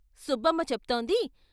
సుబ్బమ్మ చెప్తోంది.